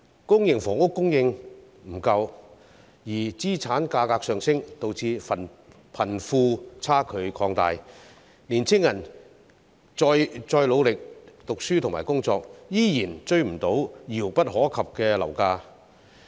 公營房屋供應不足，資產價格上升，導致貧富差距擴大，青年人再努力讀書和工作，依然追不上遙不可及的樓價。